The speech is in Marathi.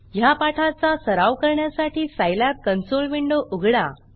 ह्या पाठाचा सराव करण्यासाठी सायलॅब कन्सोल विंडो उघडा